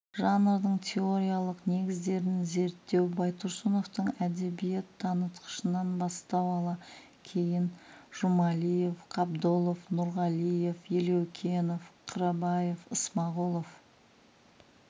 жанрдың теориялық негіздерін зерттеу байтұрсыновтың әдебиет танытқышынан бастау ала кейін жұмалиев қабдолов нұрғалиев елеукенов қырабаев ысмағұлов